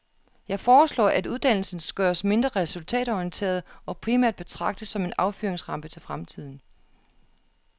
Jeg foreslår at uddannelsens gøres mindre resultatorienteret og primært betragtes som en affyringsrampe til fremtiden.